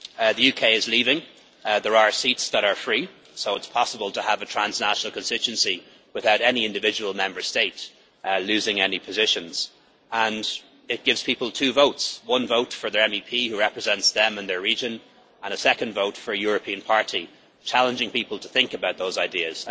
The UK is leaving, there are seats that are free, so it is possible to have a transnational constituency without any individual Member State losing any positions, and it gives people two votes one vote for their MEP, who represents them in their region, and a second vote for a European party, challenging people to think about those ideas.